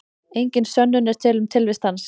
Engin sönnun er til um tilvist hans.